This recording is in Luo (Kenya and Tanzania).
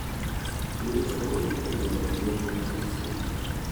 Timno konyo e dongo rieko mar chuny, .